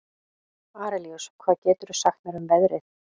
Arilíus, hvað geturðu sagt mér um veðrið?